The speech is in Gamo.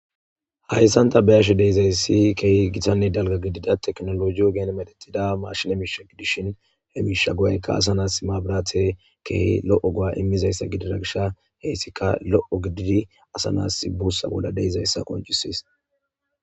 Hayssanta be ashe deizayssi keehi gitanne dalga gidida teknologiyo geen medetida maashile miisha gidishin he miisha guwaykka asa naas mabirate keehi lo'o guwa immizayssa gidira gisha heyssika lo'o gididi asa naas buussa bolla deizayssa qoncisis